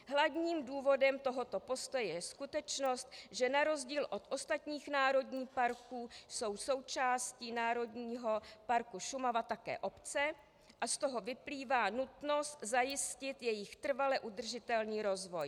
Hlavním důvodem tohoto postoje je skutečnost, že na rozdíl od ostatních národních parků jsou součástí Národního parku Šumava také obce a z toho vyplývá nutnost zajistit jejich trvale udržitelný rozvoj.